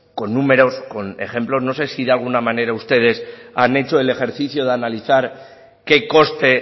con números con ejemplos no sé si de alguna manera ustedes han hecho el ejercicio de analizar qué coste